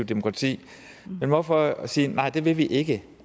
demokrati men hvorfor sige nej det vil vi ikke